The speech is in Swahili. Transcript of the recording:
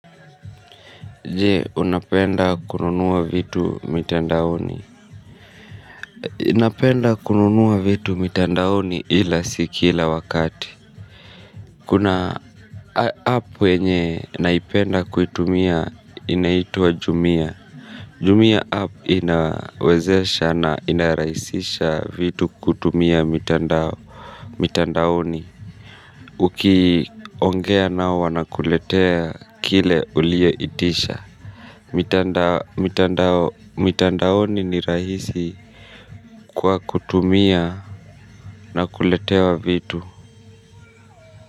Je unapenda kununua vitu mitandaoni ninapenda kununua vitu mitandaoni ila si kila wakati. Kuna app wenye naipenda kuitumia inaitua jumia Jumia app inawezesha na inaraisisha vitu kutumia mitandaoni. Ukiongea nao wana kuletea kile ulieitisha. Mitandaoni ni rahisi kwa kutumia na kuletea vitu.